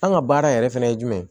An ka baara yɛrɛ fana ye jumɛn ye